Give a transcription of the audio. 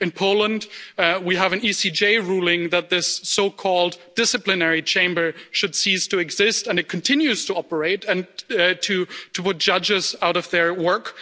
In Poland, we have an ECJ ruling that this so-called disciplinary chamber should cease to exist, but it continues to operate and to put judges out of work.